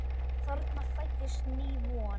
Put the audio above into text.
Þarna fæddist ný von.